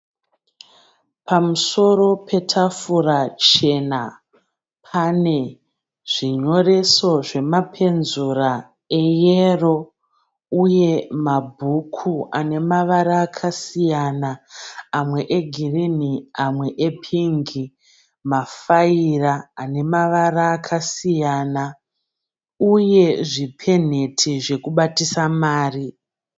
Pamusero petafura chena pane zvinyoreso zvemapenzura eyero uye mabhuku ane mavara akasiyana amwe egirini amwe epingi. Mafaira ane mavara akasiyana uye zvipenheti zvokubatisa mari.